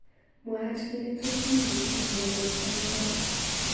Mwaat kele tos mi bik chemnyandos olotok.